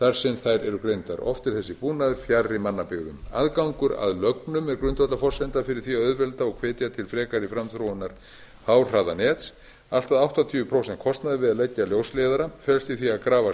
þar sem þær eru greindar oft er þessi búnaður fjarri mannabyggðum aðgangur að lögnum er grundvallarforsenda fyrir því að auðvelda og hvetja til frekari framþróunar háhraðanets allt að áttatíu prósent kostnaður við að leggja ljósleiðara felst í því að grafa